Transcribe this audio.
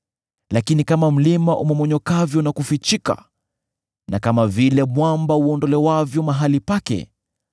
“Lakini kama mlima umomonyokavyo na kufikichika na kama vile mwamba uondolewavyo mahali pake,